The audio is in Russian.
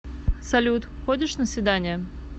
салют ходишь на свидания